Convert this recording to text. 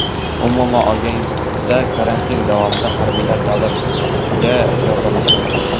Umuman olganda, karantin davomida harbiylar davlatga yordamlashmoqda.